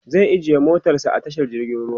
zai ajiye motarsa a tashar jirgin ruwa